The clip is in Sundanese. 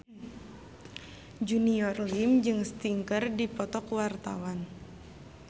Junior Liem jeung Sting keur dipoto ku wartawan